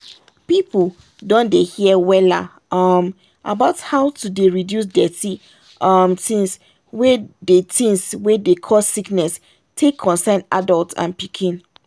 people don dey hear wella um about how to dey reduce dirty um things wey dey things wey dey cause sickness take concern adult and pikin.